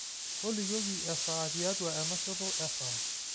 tolikioki esaa tiatua enashoto esaa